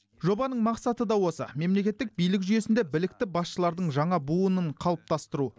жобаның мақсаты да осы мемлекеттік билік жүйесінде білікті басшылардың жаңа буынын қалыптастыру